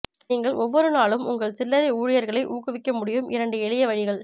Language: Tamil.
நீங்கள் ஒவ்வொரு நாளும் உங்கள் சில்லறை ஊழியர்களை ஊக்குவிக்க முடியும் இரண்டு எளிய வழிகள்